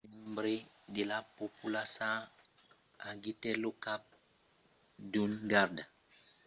a un instant un membre de la populaça agitèt lo cap d’un garda reial tuat a versalhas en fàcia de la reina terrorizada